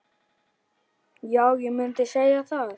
Já, ég mundi segja það.